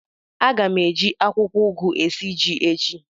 A ga m eji akwụkwọ ugu esi ji echi.